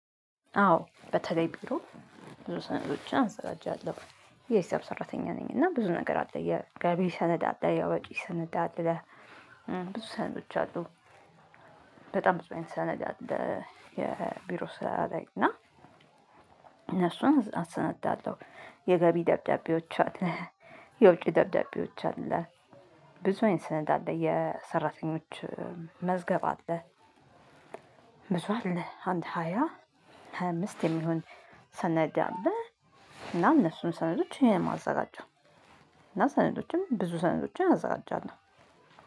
አዎ በተለይ ቢሮ ብዙ ሰነዶችን አዘጋጃለሁ የሂሳብ ሰራተኛ ነኝ። እና ብዙ ነገር አለ የገቢ ሰነድ አለ የወጪ ሰነድ አለ። ብዙ ሰነዶች አሉ። በጣም ብዙ አይነት ሰነድ አለ። የቢሮ ስራ ላይ እና እነሱን አሰነዳለሁ። የገቢ ደብዳቤዎች አለ። የውጪ ደብዳቤዎች አለ። ብዙ አይነት ሰነድ አለ የሰራተኞች መዝገብ አለ። ብዙ አለ አንድ ሃያ ሃያ አምስት የሚሆን ሰነድ አለ። እና እነሱን ሰነዶች እኔ ነኝ እማዘጋጀው። እና ሰነዶችም ብዙ ሰነዶችን አዘጋጃለሁ።